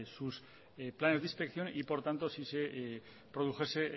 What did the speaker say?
sus planes de inspección y por tanto si se produjese